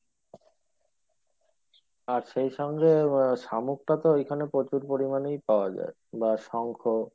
আর সেই সঙ্গে আহ শামুকটা তো ওইখানে প্রচুর পরিমাণেই পাওয়া যাই বা শঙ্খ